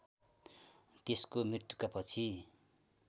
त्यसको मृत्युका पछि